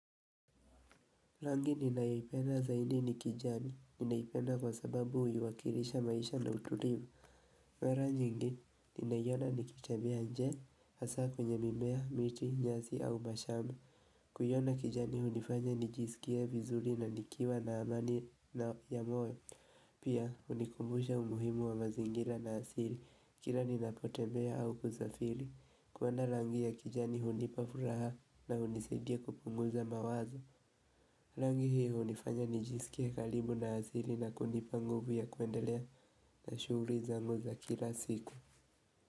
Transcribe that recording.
Langi ninayoipenda zaidi ni kijani, ninaipenda kwa sababu hiuakilisha maisha na utulivu. Mara nyingi, ninaiona nikitebea nje, hasa kwenye mimea, miti, nyasi au mashamba. Kuiona kijani hunifanya nijisikie vizuri na nikiwa na amani na ya moyo. Pia, hunikumbusha umuhimu wa mazingira na asili, kila ninapotembea au kusafiri. Kuona rangi ya kijani hunipa furaha na hunisidia kupunguza mawazo. Rangi hio hunifanya nijisikie karibu na hazili na kunipa nguvu ya kwendelea na shuguri zangu za kila siku.